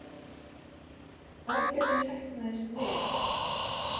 Aðgerðin heppnaðist vel